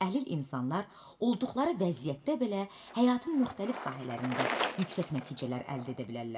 Əlil insanlar olduqları vəziyyətdə belə həyatın müxtəlif sahələrində yüksək nəticələr əldə edə bilərlər.